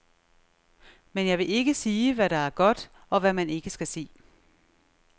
Men jeg vil ikke sige, hvad der er godt, og hvad man ikke skal se.